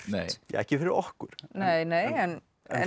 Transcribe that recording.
ekki fyrir okkur nei nei en